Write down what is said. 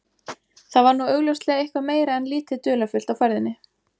Þar var nú augljóslega eitthvað meira en lítið dularfullt á ferðinni.